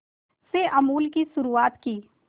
में अमूल की शुरुआत की